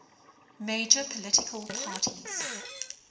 major political parties